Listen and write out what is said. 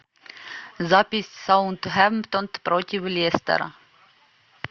запись саутгемптон против лестера